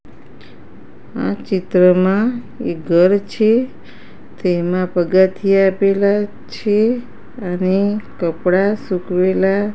આ ચિત્રમાં એક ઘર છે તેમાં પગથિયાં આપેલા છે અને કપડાં સૂકવેલા--